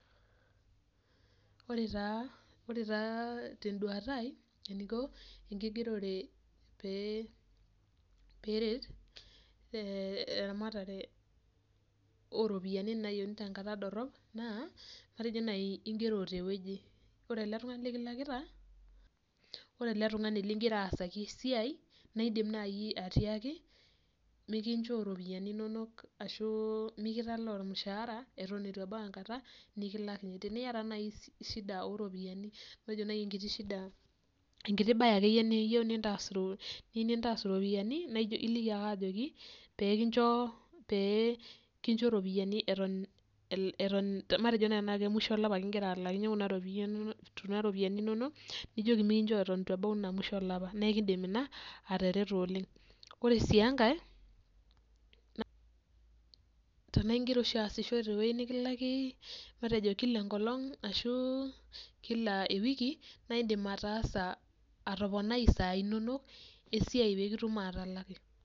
Ore taa ore taa tenduata aai eniko enkigerote pe peret eramatare oropiyani nayieni tenkata dorop naa matejo nai ingero tewueji ore eletungani likilakita, ore eletungani lingira aasaki esiai nidim nai atiaki mikinchoo ropiyani inonok ashu mikitalaaormushaara atan ituebau enkata nikilaakini teniata nai shida oropiyiani matejo nai shida enkiti bae ake niyieu nintas iropiyiani naijo iliki ake ajoki pekincho ropiyani atan, matejo nai musho olapa kigira alakinye kuna ropiyani inonok nijoki na ekindim ina atareto oleng ore si enkae tanaingira oshi aasisho tewueji nikilaki kilaenkolong ashu kila ewiki na indim atoponai sai inonok pekitum atalaki.